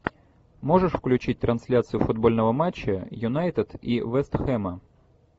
можешь включить трансляцию футбольного матча юнайтед и вест хэма